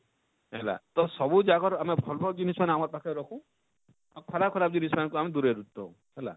ହେଲା ତ ସବୁ ଯାକର ଆମେ ଭଲ ଭଲ ଜିନିଷ ମାନେ ଆମର ପାଖେ ରଖୁ ଆଉ ଖରାପ ଖରାପ ଜିନିଷ ମାନକୁ ଆମେ ଦୁରେଇ ଦଉ ହେଲା,